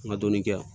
N ka dɔɔnin kɛ yan